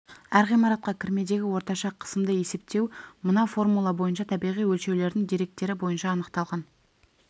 әр ғимаратқа кірмедегі орташа қысымды есептеу мына формула бойынша табиғи өлшеулердің деректері бойынша анықталған